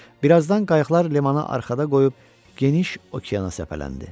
Birazdan qayıqlar limanı arxada qoyub geniş okeana səpələndi.